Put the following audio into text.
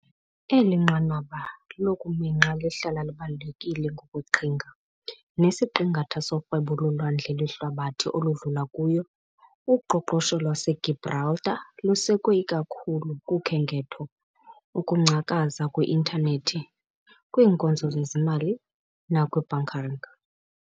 Eli nqanaba lokuminxa lihlala libalulekile ngokweqhinga, nesiqingatha sorhwebo lolwandle lwehlabathi oludlula kuyo. Uqoqosho lwaseGibraltar lusekwe ikakhulu kukhenketho, ukungcakaza kwi-Intanethi, kwiinkonzo zezimali, nakwi -bunkering .